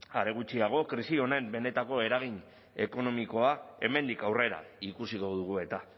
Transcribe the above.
are gutxiago krisi honen benetako eragin ekonomikoa hemendik aurrera ikusiko dugu eta